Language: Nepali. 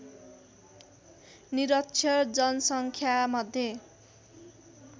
निरक्षर जनसङ्ख्यामध्ये